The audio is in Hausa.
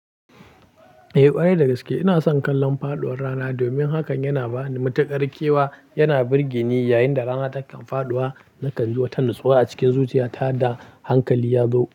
Eh ƙwarai dagaske ina son kallon faɗuwar rana domin hakan yana bani matuƙar kewa, yana birge ni yayin da rana takan faɗuwa, nakan ji wata natsuwa a cikin zuciyata da hankali yazo.